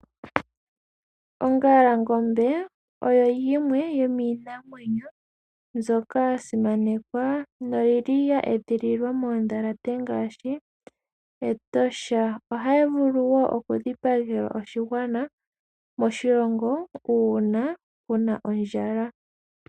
Ongalangombe oyo yimwe yomiinamwenyo mbyoka ya simanekwa noyili ya edhililwa moondhalate ngaashi Etosha. Ohayi vulu wo okudhipagelwa oshigwana moshilongo uuna kuna ondjala.